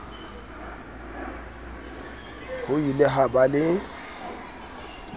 ho ile ha ba le